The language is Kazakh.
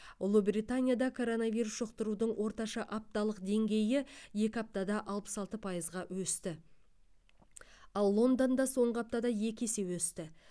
ұлыбританияда коронавирус жұқтырудың орташа апталық деңгейі екі аптада алпыс алты пайызға өсті ал лондонда соңғы аптада екі есе өсті